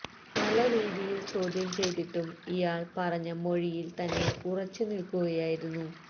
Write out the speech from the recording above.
പല രീതിയില് ചോദ്യം ചെയ്തിട്ടും ഇയാള് പറഞ്ഞ മൊഴിയില് തന്നെ ഉറച്ചു നില്ക്കുകയായിരുന്നു